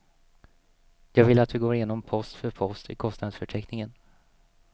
Jag vill att du går igenom post för post i kostnadsförteckningen.